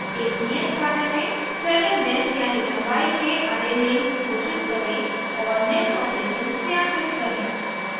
एक नियत कार्य में #7 length यानी लम्बाई के array names2 घोषित करें और निम्न operations क्रियान्वित करें